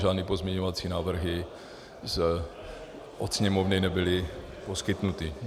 Žádné pozměňovací návrhy od Sněmovny nebyly poskytnuty.